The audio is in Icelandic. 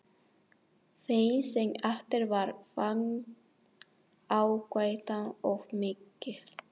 Þeim sem eftir varð fannst áhættan of mikil.